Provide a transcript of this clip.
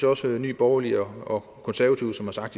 også nye borgerlige og konservative som har sagt